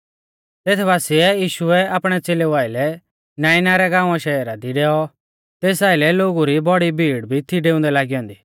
तेथ बासिऐ यीशु आपणै च़ेलेऊ आइलै नाइना रै गाँवाशहरा दी डैऔ तेस आइलै लोगु री बौड़ी भीड़ भी थी डेऊंदै लागी ऐन्दी